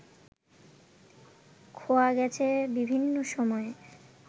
খোয়া গেছে বিভিন্ন সময়ে